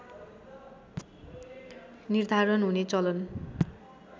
निर्धारण हुने चलन